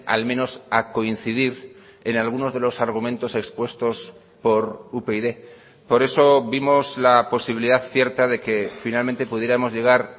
al menos a coincidir en algunos de los argumentos expuestos por upyd por eso vimos la posibilidad cierta de que finalmente pudiéramos llegar